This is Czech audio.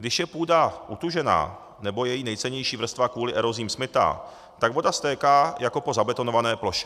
Když je půda utužená nebo její nejcennější vrstva kvůli erozím smytá, tak voda stéká jako po zabetonované ploše.